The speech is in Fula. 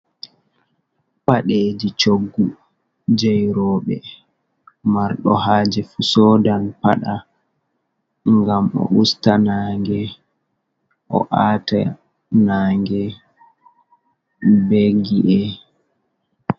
Paɗeji coggu jei roɓe marɗo haaje fu sodan paɗa ngam o'usta nange o'ata nange be gi’e.